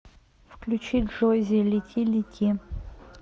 включи джоззи лети лети